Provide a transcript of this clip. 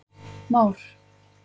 Már